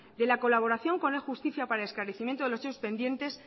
de la colaboración con la justicia para la esclarecimiento de los hechos pendientes